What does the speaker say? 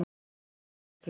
Ljós í myrkrinu.